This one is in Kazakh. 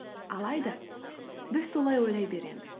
алайда біз солай ойлай береміз